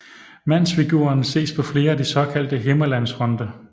Mandsfiguren ses på flere af de såkaldte Himmerlandsfonte